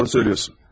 Düz deyirsən.